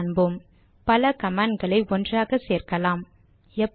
பின்னால் காண்போம் பல கமாண்ட் களை ஒன்றாகவும் சேர்க்கலாம்